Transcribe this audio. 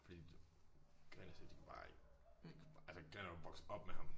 Fordi Gren og Seb de kunne bare ikke de kunne bare altså Gren er jo vokset op med ham